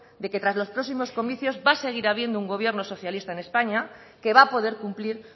de que tras los próximos comicios va a seguir habiendo un gobierno socialista en españa que va a poder cumplir